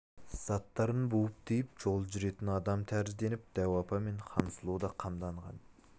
заттарын буып-түйіп жол жүретін адам тәрізденіп дәу апа мен хансұлу да қамданған